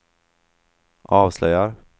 avslöjar